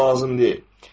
bu lazım deyil.